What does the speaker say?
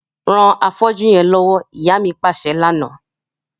Ran afọ́jú yẹn lọwọ, ìyá mi paṣẹ lana.